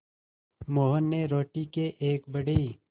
मोहन ने रोटी के एक बड़े